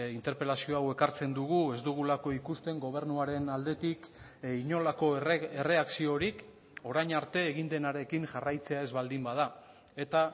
interpelazio hau ekartzen dugu ez dugulako ikusten gobernuaren aldetik inolako erreakziorik orain arte egin denarekin jarraitzea ez baldin bada eta